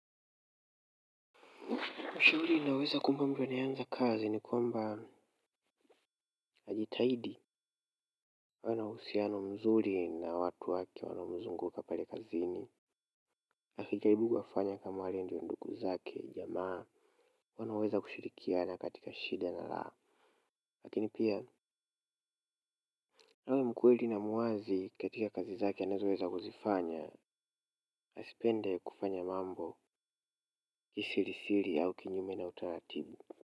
Ushauri ninayoweza kumpa mtu anayeanza kazi ni kwamba ajitahidi uwe na uhusiano mzuri na watu wake wanaomzunguka pale kazini akijaribu wafanya kama wale ndio ndugu zake jamaa wanaweza kushirikiana katika shida na raha lakini pia awe mkweli na muwazi katika kazi zake anazoweza kuzifanya. Asipende kufanya mambo kisirisiri au kinyume na utaratibu.